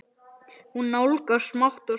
Hún nálgast smátt og smátt.